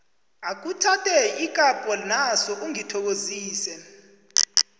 akhuthathe ikapho naso ungithokozise